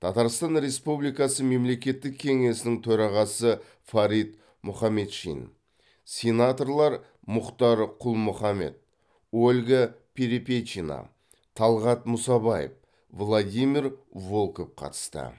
татарстан республикасы мемлекеттік кеңесінің төрағасы фарид мұхаметшин сенаторлар мұхтар құл мұхаммед ольга перепечина талғат мұсабаев владимир волков қатысты